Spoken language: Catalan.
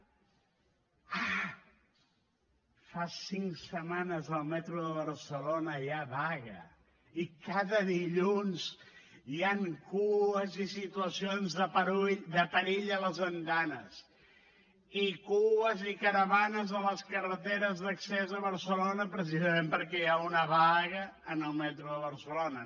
ah fa cinc setmanes al metro de barcelona hi ha vaga i cada dilluns hi han cues i situacions de perill a les andanes i cues i caravanes a les carreteres d’accés a barcelona precisament perquè hi ha una vaga en el metro de barcelona